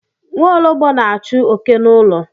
Nwaologbo na-achụ oké n'ụlọ.